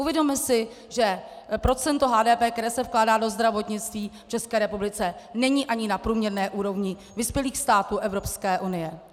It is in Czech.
Uvědomme si, že procento HDP, které se vkládá do zdravotnictví v České republice, není ani na průměrné úrovni vyspělých států Evropské unie.